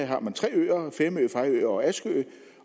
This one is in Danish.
har man tre øer femø fejø og askø